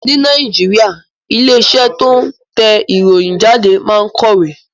Ní Nàìjíríà, ilé iṣẹ́ tó ń tẹ ìròyìn jáde máa ń kọ̀wé